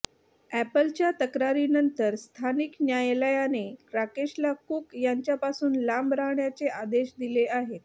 अॅपलच्या तक्रारीनंतर स्थानिक न्यायालयाने राकेशला कूक यांच्यापासून लांब राहण्याचे आदेश दिले आहेत